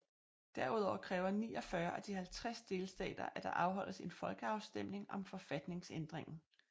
Derudover kræver 49 af de 50 delstater at der afholdes en folkeafstemning om forfatningsændringen